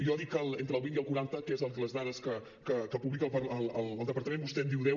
jo dic entre el vint i el quaranta que són les dades que publica el departament vostè em diu deu